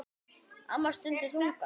Amma stundi þungan.